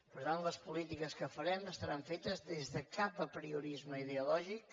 per tant les polítiques que farem estaran fetes des de cap apriorisme ideològic